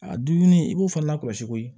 A dumuni i b'o fana lakɔlɔsi koyi